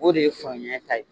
O de ye samuya ta ye.